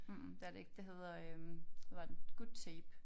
Mhmh det er det ikke det hedder øh hvad var den Good Tape